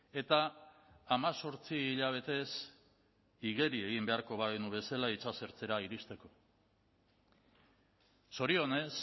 eta hemezortzi hilabetez igeri egin beharko bagenu bezala itsasertzera iristeko zorionez